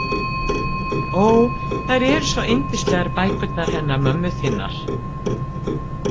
Ó, þær eru svo yndislegar bækurnar hennar mömmu þinnar.